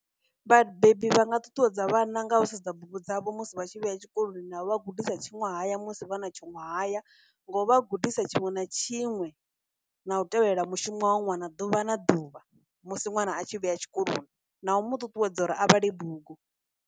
Vhabebi vha nga ṱuṱuwedza vhana nga u sedza bugu dzavho musi vha tshi vhuya tshikoloni, na vha gudisa tshuṅwahaya musi vha na tshuṅwahaya, nga u vha gudisa tshiṅwe na tshiṅwe na u tevhelela mushumo wa ṅwana ḓuvha na ḓuvha musi nwana a tshi vhuya tshikoloni, na u mu ṱuṱuwedza uri a vhale bugu.